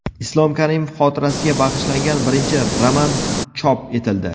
Islom Karimov xotirasiga bag‘ishlangan birinchi roman chop etildi.